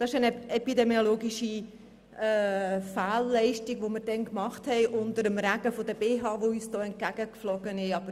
Das ist eine epidemiologische Fehlleistung, die wir damals unter dem Regen der BHs, die uns hier entgegengeflogen sind, gemacht haben.